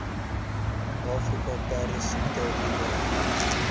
afrika perdesiekte beheer